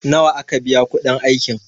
nawa aka biya kudin aikin?